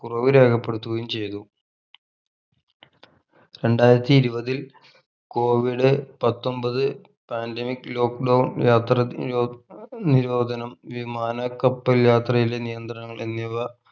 കുറവ് രേഖപ്പെടുത്തുകയും ചെയ്‌തു രണ്ടായിരത്തി ഇരുപതിൽ covid പത്തൊമ്പത് pandemic lock down യാത്രാ നിരോധ് നിരോധനം വിമാന കപ്പൽ യാത്രയിലെ നിയന്ത്രണം എന്നിവ